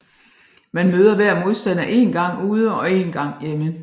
Man møder hver modstander én gang ude og én gang hjemme